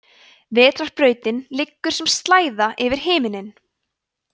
vetrarbrautin liggur sem slæða yfir himinninn